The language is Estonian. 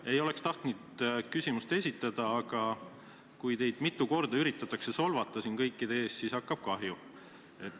Ma ei olekski tahtnud küsimust esitada, aga kui teid üritatakse mitu korda siin kõikide ees solvata, siis hakkab mul kahju.